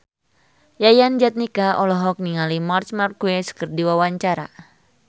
Yayan Jatnika olohok ningali Marc Marquez keur diwawancara